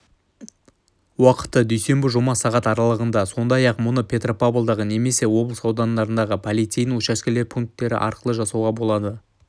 уақыты дүйсенбі-жұма сағат аралығында сондай-ақ мұны петропавлдағы немесе облыс аудандарындағы полицейдің учаскелік пункттеріарқылы жасауға болады